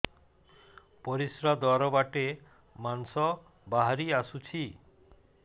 ପରିଶ୍ରା ଦ୍ୱାର ବାଟେ ମାଂସ ବାହାରି ଆସୁଛି